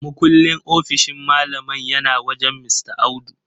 Mukullin ofishin malaman yana wajen Mista Audu.